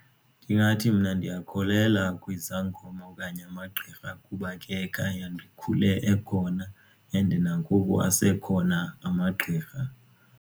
Ndingathi mna ndiyakholelwa kwizangoma okanye amagqirha kuba ke khaya ndikhule ekhona and nangoku asekhona amagqirha.